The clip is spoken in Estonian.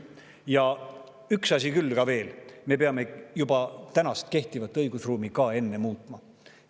Ja üks asi veel: me peame kehtivat õigusruumi ka enne muutma.